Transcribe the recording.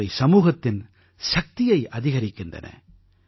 இவை சமூகத்தின் சக்தியை அதிகரிக்கின்றன